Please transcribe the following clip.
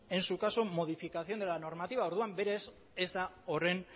en su caso modificación de la normativa berez ez da horren